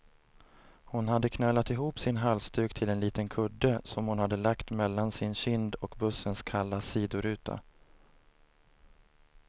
Hon hade knölat ihop sin halsduk till en liten kudde, som hon hade lagt mellan sin kind och bussens kalla sidoruta.